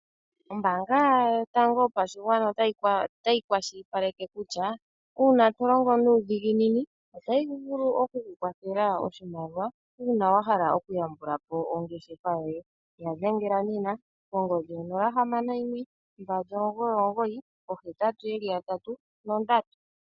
Ombaanga yotango yopashigwana otayi kwashilipaleke kutya, uuna to longo nuudhiginini otayi vulu oku ku kwathela oshimaliwa, uuna wa hala okuyambula po ongeshefa yoye. Ya dhengela nena kongodhi yonola, hamano, yimwe, mbali, omugoyi, omugoyi, oohetatu ye li yatatu nondatu.